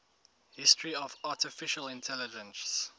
history of artificial intelligence